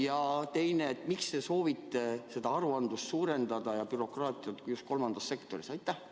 Ja teine küsimus: miks te soovite aruandlust, seda bürokraatiat suurendada just kolmandas sektoris?